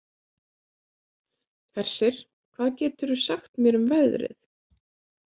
Hersir, hvað geturðu sagt mér um veðrið?